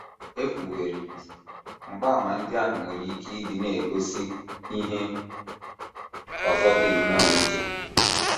E kwuwerị, mgbaàmà ndị ahụ nwere ike ịdị na - egosi ihe ọzọ dị nnọọ iche.